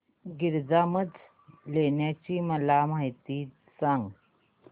गिरिजात्मज लेण्याद्री ची मला माहिती सांग